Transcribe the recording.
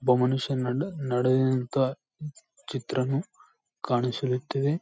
ಒಬ್ಬ ಮನುಷ್ಯನನ್ನು ನಡೆಯಂತ ಚಿತ್ರವನ್ನು ಕಾನ್ಸ್ಲೀತೆವೆ.